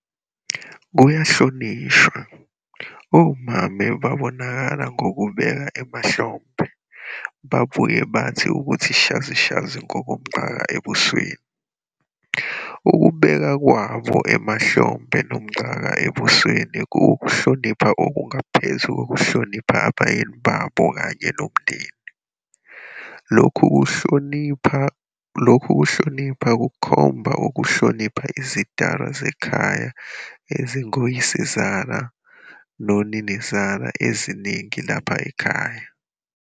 Kuyahlonishwa, omame babonakala ngokucabeka emahlombe, babuye bathi ukuthi shazishazi ngomcaka ebusweni. Ukubeka kwabo emahlombe nomcaka ebusweni kuwukuhlonipha okungaphezulu kokuhlonipha abayeni babo kanye nomndeni. Lokhu kuhlonipha kukhomba ukuhlonipha izidalwa zekhaya ezingoyisezala, noninazala eseziningi lapha ekhaya.